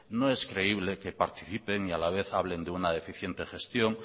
no es creíble que participe y a la vez hablen de una deficiente gestión